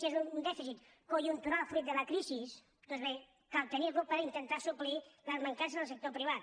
si és un dèficit conjuntural fruit de la crisi doncs bé cal tenir lo per intentar suplir les mancances del sector privat